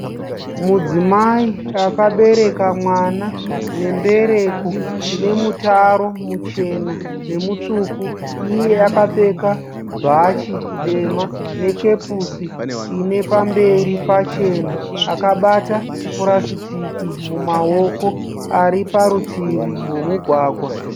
Mudzimai akabereka mwana nembereko ine mutaro muchena nemutsvuku. Iye akapfeka bhachi dema nekepusi ine pamberi pachena, akabata purasitiki mumaoko ari parutivi rwemugwagwa.